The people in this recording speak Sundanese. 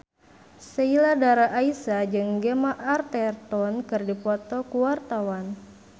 Sheila Dara Aisha jeung Gemma Arterton keur dipoto ku wartawan